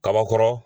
Kaba kɔrɔ